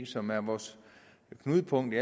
som er vores knudepunkt i